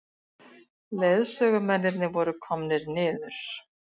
Leiðsögumennirnir voru komnir niður.